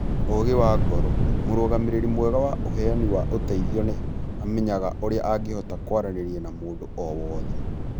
Ũgĩ wa ngoro: Mũrũgamĩrĩri mwega wa ũheani wa ũteithio nĩ amenyaga ũrĩa angĩhota kwaranĩria na mũndũ o wothe,